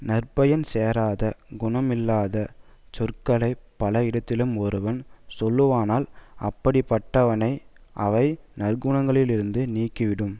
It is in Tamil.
நற்பயன் சேராத குணமில்லாத சொற்களை பலரிடத்திலும் ஒருவன் சொல்லுவானால் அப்படி பட்டவனை அவை நற்குணங்களிலிருந்து நீக்கிவிடும்